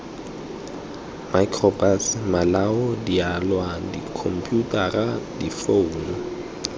microbus malao dialwa dikhomputara difounu